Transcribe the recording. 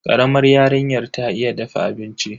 Karamar yarinyar ta iya dafa abinci.